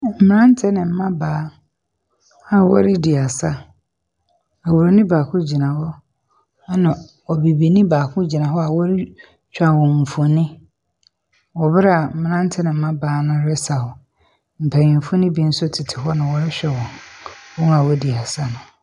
Mmranteɛ na mmabaa a wɔredi asa. Oburoni ɛna obibini baako gyina hɔ a ɔretwa wɔn mfonin wɔ mmerɛ a mmranteɛ ne mmabaa no resaw. Mpanimfoɔ no bi nso tete hɔ na wɔrehwɛ wɔn a wɔredi asa no.